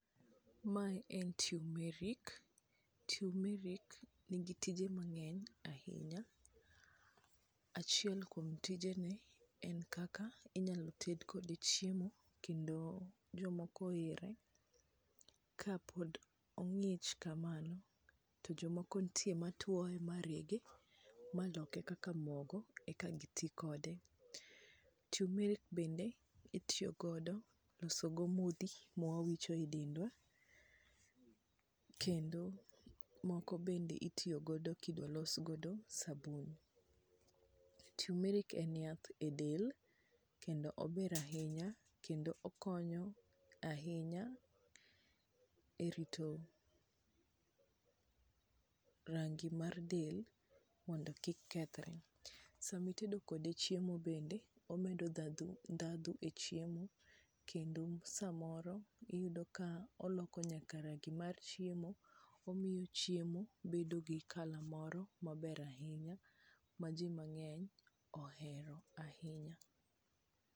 Ma en tumeric. Tumeric nigi tije mang'eny ahinya. Achiel kuom tijene en kaka inyalo ted kode chiemo kendo jomoko ohere ka pod ong'ich kamano, to jomoko ntie matwoye ma rege, ma loke kaka mogo, eka giti kode. Tumeric bende itiyo godo loso go modhi ma wawicho e dendwa. Kendo moko bende itiyogodo kibolos godo sabun. Tumeric en yath e del, kendo ober ahiny, kendo okonyo ahinya e rito rangi mar del mondo kik kethore. Sama itedo kode bende, omedo ndhadhu, ndhadhu e chiemo kendo samoro iyudo ka oloko nyaka rangi mar chiemo, omiyo chiemo bedo gi colour moro maber ahinya ma ji mang'eny ohero ahinya.